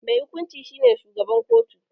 Mai hukunci shi ne shugaban kotu.